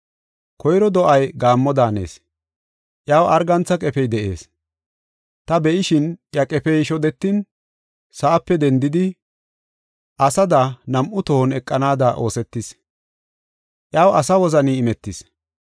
“Koyro do7ay gaammo daanees; iyaw argantha qefey de7ees. Ta be7ishin, iya qefey shodetin, sa7ape dendidi, asada nam7u tohon eqanaada oosetis; iyaw asa wozani imetis.